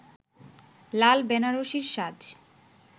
লাল বেনারসির সাজ